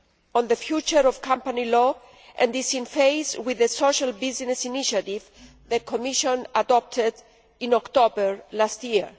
on the future of company law and is in phase with the Social Business Initiative that the Commission adopted in October last year.